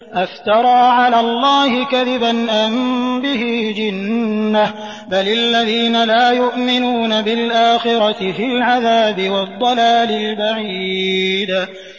أَفْتَرَىٰ عَلَى اللَّهِ كَذِبًا أَم بِهِ جِنَّةٌ ۗ بَلِ الَّذِينَ لَا يُؤْمِنُونَ بِالْآخِرَةِ فِي الْعَذَابِ وَالضَّلَالِ الْبَعِيدِ